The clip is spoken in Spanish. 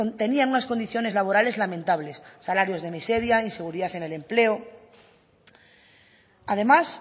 tenían unas condiciones laborales lamentables salarios de miseria inseguridad en el empleo además